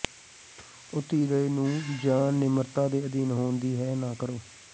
ਉਹ ਧੀਰਜ ਨੂੰ ਜ ਨਿਮਰਤਾ ਦੇ ਅਧੀਨ ਹੋਣ ਦੀ ਹੈ ਨਾ ਕਰੋ